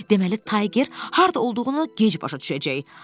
Deməli, Tayger harda olduğunu gec başa düşəcək.